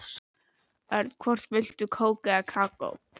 Örn, hvort viltu kók eða kakó?